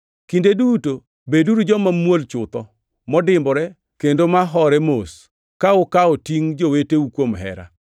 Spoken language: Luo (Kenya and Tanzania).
Kinde duto beduru joma muol chutho, modimbore, kendo ma hore mos ka ukawo tingʼ joweteu kuom hera.